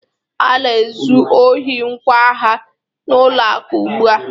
A na-ezu ohi ngwa agha n'ụlọ akụ ugbu a